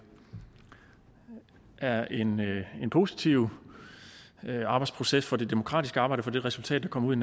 er en positiv arbejdsproces for det demokratiske arbejde og for det resultat der kommer ud